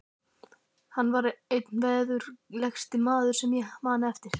Hann var einn veðurgleggsti maður sem ég man eftir.